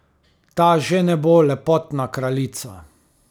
Ta že ne bo lepotna kraljica.